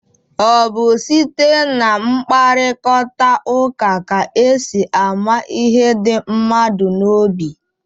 Ọ bụ site na mkparịkọtaụka ka e si amata ihe dị mmadụ n'obi.